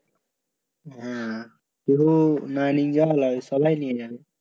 না তু সবাই নিয়ে যাবে